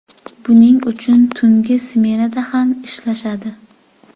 Buning uchun tungi smenada ham ishlashadi.